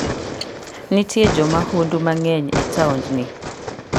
Nitie jo mahundu mang'eny e taondni.